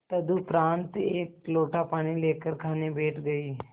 तदुपरांत एक लोटा पानी लेकर खाने बैठ गई